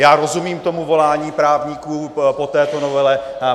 Já rozumím tomu volání právníků po této novele.